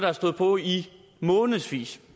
har stået på i månedsvis